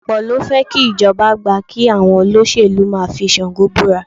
Ọ̀pọ̀ ló fẹ́ kí ìjọba gbà kí àwọn olóṣèlú máa fi Ṣàngó búra